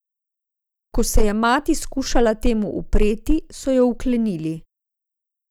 Ko se je mati skušala temu upreti, so jo vklenili.